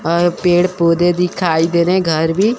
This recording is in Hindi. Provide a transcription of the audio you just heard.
और पेड़ पौधे दिखाई दे रहे है घर भी--